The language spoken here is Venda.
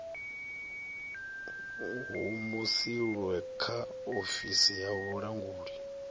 humusilwe kha ofisi ya vhulanguli